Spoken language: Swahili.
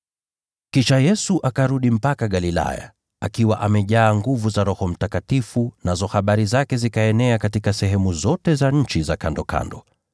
Kisha Yesu akarudi mpaka Galilaya, akiwa amejaa nguvu za Roho Mtakatifu, nazo habari zake zikaenea katika sehemu zote za nchi za kandokando.